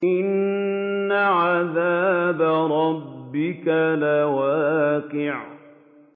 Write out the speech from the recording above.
إِنَّ عَذَابَ رَبِّكَ لَوَاقِعٌ